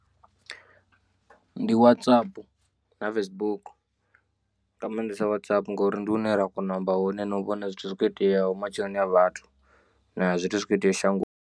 Ndi Whatsapp na Facebook nga maanḓesa Whatsapp ngori ndi hune ra kona u amba hone na u vhona zwithu zwi kho iteaho matshiloni a vhathu na zwithu zwi kho iteaho shangoni.